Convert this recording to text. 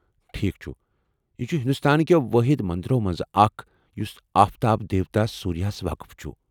ٹھیک چھ ، یہ چھ ہندوستان كیو٘ وٲحد مندرو منٛزٕ اکھ یُس آفتاب دیوتا سوٗریہ ہس وقف چُھ ۔